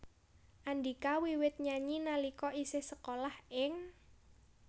Andhika wiwit nyanyi nalika isih sekolah ing